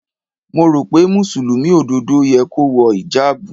Mo rò pé Mùsùlùmí òdodo yẹ kó wọ ìjábù.